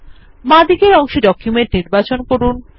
বামদিকের অংশে ডকুমেন্ট নির্বাচন করুন